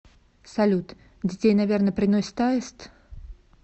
салют детей наверно приносит аист